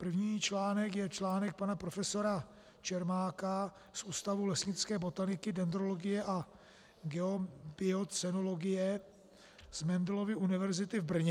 První článek je článek pana profesora Čermáka z Ústavu lesnické botaniky, dendrologie a geobiocenologie z Mendelovy univerzity v Brně.